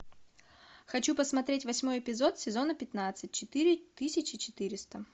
хочу посмотреть восьмой эпизод сезона пятнадцать четыре тысячи четыреста